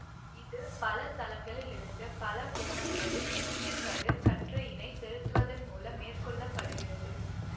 இது பல தளங்களிலிருந்து பலகோணங்களில் எக்சுகதிர் கற்றையினைச் செலுத்துவதன் மூலம் மேற்கொள்ள படுகிறது